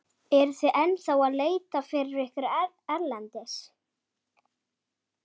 Eruð þið ennþá að leita fyrir ykkur erlendis?